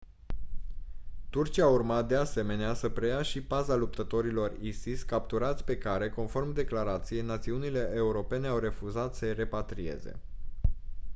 turcia urma de asemenea să preia și paza luptătorilor isis capturați pe care conform declarației națiunile europene au refuzat să-i repatrieze